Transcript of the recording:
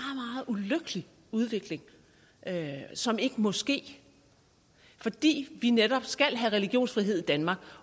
ulykkelig udvikling som ikke må ske fordi vi netop skal have religionsfrihed i danmark